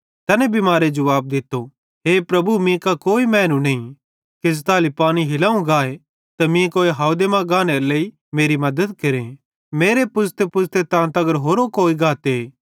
तैने बिमारे जुवाब दित्तो हे प्रभु मीं कां कोई मैनू नईं कि ज़ताली पानी हिलावं गाए त मीं कोई हावदे मां गाने लेइ मेरी मद्दत केरे मेरे पुज़तेपुज़ते तां तगर होरो कोई गाते